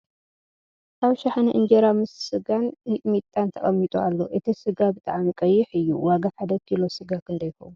ኣብ ሽሓነ እንጀራ ምስ ስጋን ሚጥሚጣን ተቀሚጡ ኣሎ ። እቲ ስጋ ብጣዕሚ ቀይሕ እዩ ። ዋጋ ሓደ ኪሎ ስጋ ክንደይ ይከውን ?